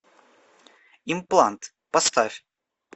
имплант поставь